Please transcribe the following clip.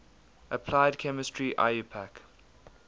applied chemistry iupac